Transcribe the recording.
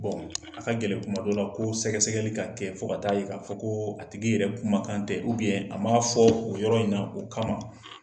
a ka gɛlɛn kuma dɔ la, ko sɛgɛ sɛgɛli ka kɛ fo ka taa yira, k' a fɔ ko a tigi yɛrɛ kumakan tɛ 'a ma fɔ o yɔrɔ in na o kama